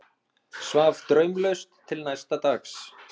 Svaf draumlaust til næsta dags.